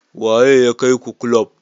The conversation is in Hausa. Waye ya kai ku kulub?